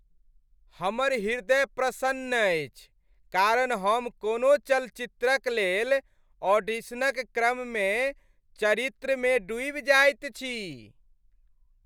हमर हृदय प्रसन्न अछि कारण हम कोनो चलचित्रक लेल ऑडिशनक क्रममे चरित्रमे डूबि जाइत छी।